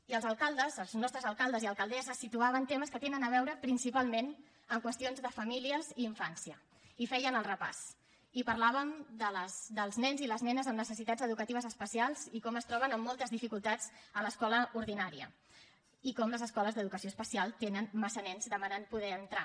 i els alcaldes els nostres alcaldes i alcaldesses situaven temes que tenen a veure principalment amb qüestions de famílies i infància i feien el repàs i parlàvem dels nens i les nenes amb necessitats educatives especials i com es troben amb moltes dificultats a l’escola ordinària i com les escoles d’educació especial tenen massa nens demanant poder hi entrar